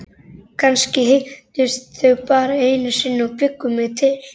Kannski hittust þau bara einu sinni og bjuggu mig til.